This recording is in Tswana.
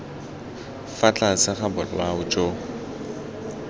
fa tlase ga bolao jo